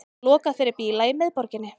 Lokað fyrir bíla í miðborginni